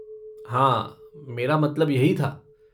हाँ, मेरा मतलब यही था।